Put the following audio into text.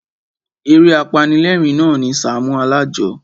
Eré apanilérìn na ni Sàámú Alájọ.